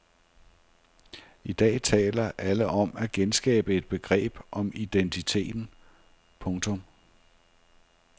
I dag taler alle om at genskabe et begreb om identiteten. punktum